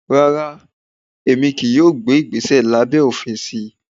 Rárá, Emi kii yóò gbe igbese labẹ òfin si.